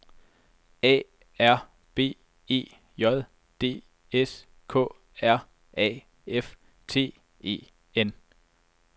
A R B E J D S K R A F T E N